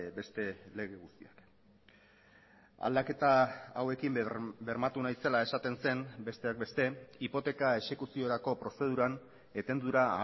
beste lege guztiak aldaketa hauekin bermatu nahi zela esaten zen besteak beste hipoteka exekuziorako prozeduran etendura